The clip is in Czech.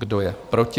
Kdo je proti?